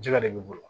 Jɛgɛ de b'i bolo